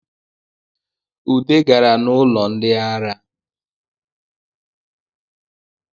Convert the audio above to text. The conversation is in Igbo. Ude gaa n’ụlọ ndị ara